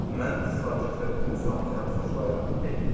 Mən sakit və intizamlı həyatı xoşlayıram, dedi.